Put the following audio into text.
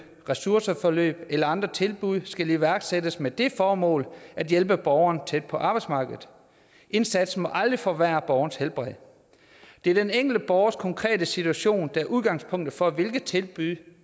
ressourceforløb eller andre tilbud skal iværksættes med det formål at hjælpe borgeren tættere på arbejdsmarkedet indsatsen må aldrig forværre borgerens helbred det er den enkelte borgers konkrete situation der er udgangspunktet for hvilke tilbud